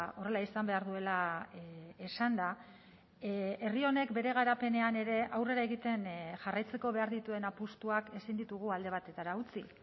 horrela izan behar duela esanda herri honek bere garapenean ere aurrera egiten jarraitzeko behar dituen apustuak ezin ditugu alde batetara utzi